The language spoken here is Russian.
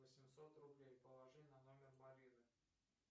восемьсот рублей положи на номер марины